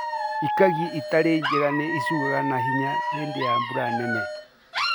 ĩkangĩ ĩtarĩ njega ni ĩguaga na ihenya hĩndĩ ya mbura nene.